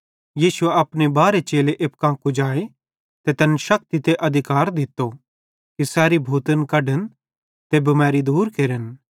यीशुए अपने बारहे चेले एप्पू कां कुजाए ते तैन शक्ति ते अधिकार दित्तो कि सैरी भूतन कढन ते बिमैरी दूर केरन